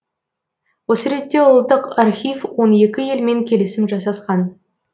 осы ретте ұлттық архив он екі елмен келісім жасасқан